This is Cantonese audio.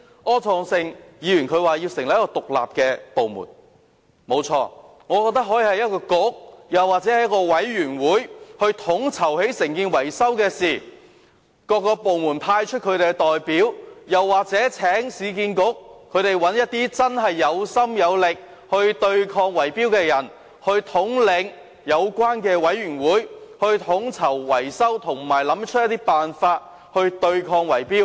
柯創盛議員剛才提出成立一個獨立部門，不錯，我認為可以由一個局或委員會統籌維修的工作，再由各個部門派出代表參與，又或可以請市區重建局找一些真正有心有力對抗圍標的人士統領有關的委員會，統籌維修工程及研究方法，對抗圍標。